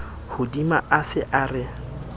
hodima a se a re